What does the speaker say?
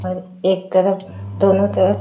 अउ एक तरफ दोनों तरफ--